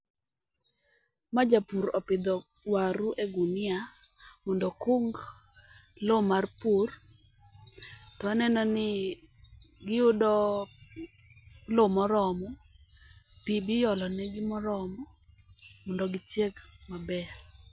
Ma Japur opidho waru e gunia mondo okung loo mar pur. To aneno ni giyudo loo moromo, pii biolo negi moromo, mondo gichieg maber.